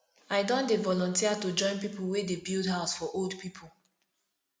i don dey volunteer to join pipu wey dey build house for old pipu